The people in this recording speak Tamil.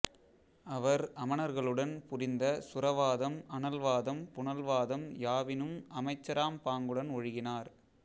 அவர் அமணர்களுடன் புரிந்த சுரவாதம் அனல்வாதம் புனல்வாதம் யாவினும் அமைச்சராம் பாங்குடன் ஒழுகினார்